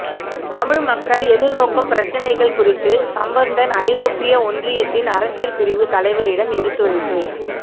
தமிழ்மக்கள் எதிர்நோக்கும் பிரச்சினைகள் குறித்து சம்பந்தன் ஐரோப்பிய ஒன்றியத்தின் அரசியல் பிரிவுத் தலைவரிடம் எடுத்துரைப்பு